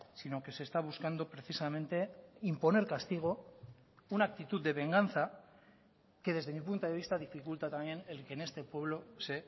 sino que se está buscando precisamente imponer castigo una actitud de venganza que desde mi punto de vista dificulta también el que en este pueblo se